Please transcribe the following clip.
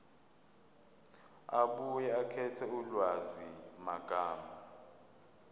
abuye akhethe ulwazimagama